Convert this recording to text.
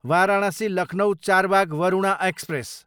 Varanasi, Lucknow Charbagh Varuna express